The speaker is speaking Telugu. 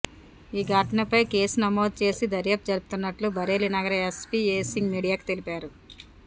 ఈ ఘటనపై కేసు నమోదు చేసి దర్యాప్తు జరుపుతున్నట్లు బరేలీ నగర ఎస్పీ ఏ సింగ్ మీడియాకు తెలిపారు